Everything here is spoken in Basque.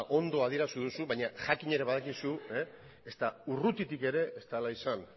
ondo adierazi duzu baina jakin ere badakizu ezta urrutitik ere ez dela izan